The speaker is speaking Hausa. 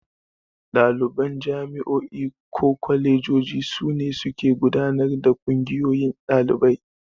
Ɗaliban jami'o'i ko kwalejoji su ne suke gudanar da Ƙungiyoyin Ɗalibai.